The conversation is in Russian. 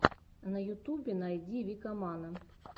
на ютубе найди викамана